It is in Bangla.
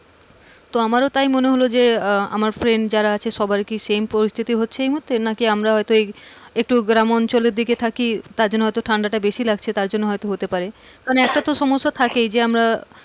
তো আমারও তাই মনে হল যে আহ আমার friend যারা সবার কি same পরিস্থিতি হচ্ছে এই মুহূর্তে নাকি আমরা হয়তো এই একটু গ্রামাঞ্চলের দিকে থাকি তার জন্য হয়তো ঠাণ্ডা বেশি লাগছে তার জন্য হতে পারে কারণ একটা তো সমস্যা থাকেই,